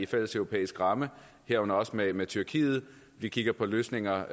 fælleseuropæisk ramme herunder også med med tyrkiet vi kigger på løsninger